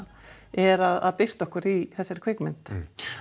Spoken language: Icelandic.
er að birta okkur í þessari kvikmynd